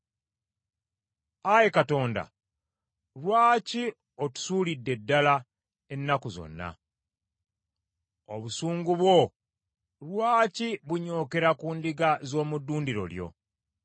Ayi Katonda, lwaki otusuulidde ddala ennaku zonna? Obusungu bwo lwaki bunyookera ku ndiga z’omu ddundiro lyo?